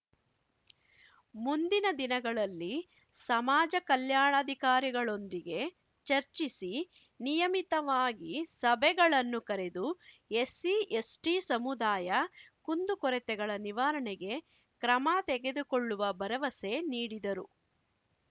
ಮುಂದಿನ ದಿನಗಳಲ್ಲಿ ಸಮಾಜ ಕಲ್ಯಾಣಾಧಿಕಾರಿಗಳೊಂದಿಗೆ ಚರ್ಚಿಸಿ ನಿಯಮಿತವಾಗಿ ಸಭೆಗಳನ್ನು ಕರೆದು ಎಸ್ಸಿ ಎಸ್ಟಿಸಮುದಾಯ ಕುಂದುಕೊರತೆಗಳ ನಿವಾರಣೆಗೆ ಕ್ರಮ ತೆಗೆದುಕೊಳ್ಳುವ ಭರವಸೆ ನೀಡಿದರು